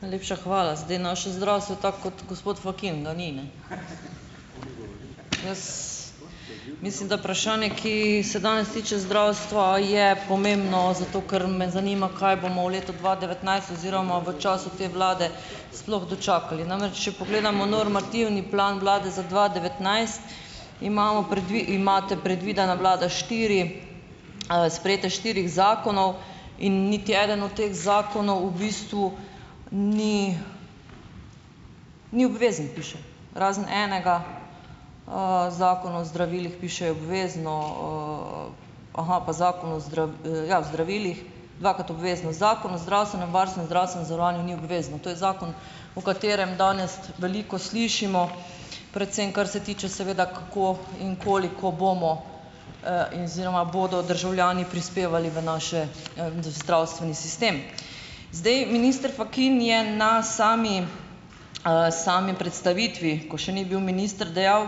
Najlepša hvala. Zdaj, naše zdravstvo, tako kot gospod Fakin, ga ni, ne. Mislim, da vprašanje, ki se danes tiče zdravstva, je pomembno zato, ker me zanima, kaj bomo v letu dva devetnajst oziroma v času te vlade sploh dočakali. Namreč če pogledamo normativni plan vlade za dva devetnajst, imamo imate predvidena vlada štiri, sprejetje štirih zakonov in niti eden od teh zakonov v bistvu ni ni obvezen, piše, razen enega, Zakon o zdravilih, piše obvezno, aha, pa zakon o ja, o zdravilih dvakrat obvezno zakon o zdravstvenem varstvu in zdravstvenem zavarovanju ni obvezno. To je zakon, o katerem danes veliko slišimo, predvsem kar se tiče, seveda, kako in koliko bomo, in oziroma bodo državljani prispevali v naš, zdravstveni sistem. Zdaj, minister Fakin je na sami, sami predstavitvi, ko še ni bil minister, dejal,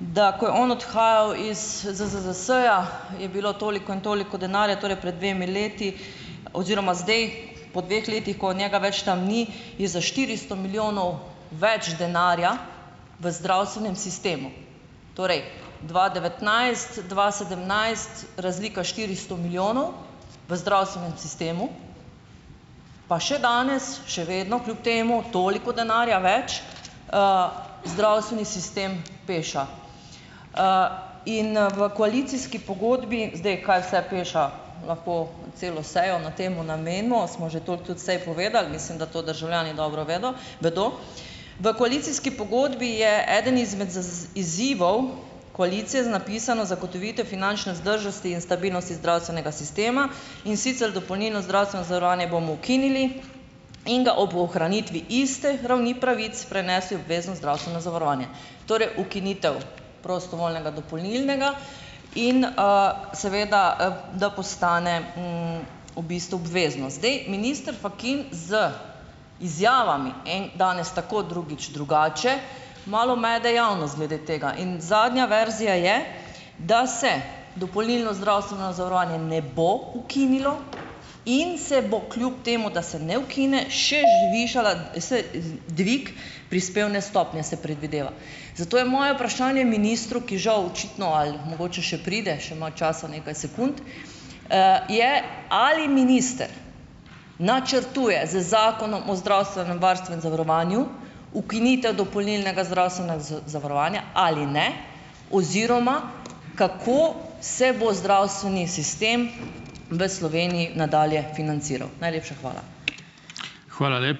da ko je on odhajal iz ZZZS-ja, je bilo toliko in toliko denarja, torej pred dvema letoma oziroma zdaj, po dveh letih, ko njega več tam ni, je za štiristo milijonov več denarja v zdravstvenem sistemu. Torej dva devetnajst-dva sedemnajst, razlika štiristo milijonov v zdravstvenem sistemu, pa še danes, še vedno, kljub temu, toliko denarja več, zdravstveni sistem peša. In, v koalicijski pogodbi, zdaj, kaj vse peša, lahko celo sejo na tem namenimo, smo že toliko tudi sej povedali, mislim, da to državljani dobro vedo, vedo. V koalicijski pogodbi je eden izmed izzivov koalicije zapisan, zagotovitev finančne vzdržnosti in stabilnosti zdravstvenega sistema, in sicer dopolnilno zdravstveno zavarovanje bomo ukinili in ga ob ohranitvi iste ravni pravic prenesli v obvezno zdravstveno zavarovanje. Torej, ukinitev prostovoljnega dopolnilnega in, seveda, da postane, v bistvu obvezno. Zdaj, minister Fakin z izjavami, en, danes tako, drugič drugače, malo mede javnost glede tega in zadnja verzija je, da se dopolnilno zdravstveno zavarovanje ne bo ukinilo, in se bo kljub temu, da se ne ukine, še zvišala se, z dvig prispevne stopnje se predvideva. Zato je moje vprašanje ministru, ki žal očitno ali mogoče še pride, še ima časa nekaj sekund, je: Ali minister načrtuje z zakonom o zdravstvenem varstvu in zavarovanju ukinitev dopolnilnega zdravstvenega zavarovanja ali ne oziroma kako se bo zdravstveni sistem v Sloveniji nadalje financiral? Najlepša hvala.